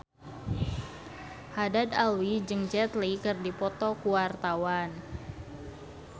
Haddad Alwi jeung Jet Li keur dipoto ku wartawan